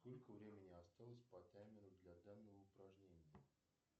сколько времени осталось по таймеру для данного упражнения